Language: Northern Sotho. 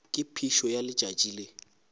ka phišo ya letšatši le